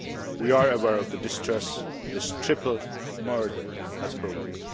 We are aware of the distress this triple murder has provoked.